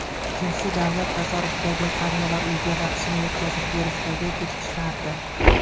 Ikkinchisi, davlat tasarrufidagi qariyalar uyiga vaksina yetkazib berishdagi kechikishlardir.